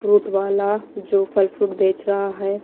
Fruit वाला जो फल फ्रूट बेच रहा है।